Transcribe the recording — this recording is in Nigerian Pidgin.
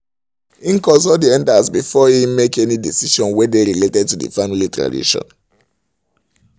he consult the elders before he make any decision wey dey related to family tradition